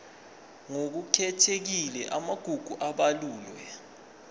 ngokukhethekile amagugu abalulwe